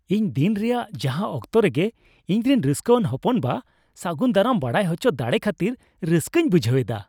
ᱤᱧ ᱫᱤᱱ ᱨᱮᱭᱟᱜ ᱡᱟᱦᱟᱸ ᱚᱠᱛᱚ ᱨᱮᱜᱮ ᱤᱧᱨᱮᱱ ᱨᱟᱹᱥᱠᱟᱹᱣᱟᱱ ᱦᱚᱯᱚᱱᱵᱟ ᱥᱟᱹᱜᱩᱱ ᱫᱟᱨᱟᱢ ᱵᱟᱲᱟᱭ ᱦᱚᱪᱚ ᱫᱟᱲᱮ ᱠᱷᱟᱹᱛᱤᱨ ᱨᱟᱹᱥᱠᱟᱹᱧ ᱵᱩᱡᱷᱟᱹᱣ ᱮᱫᱟ ᱾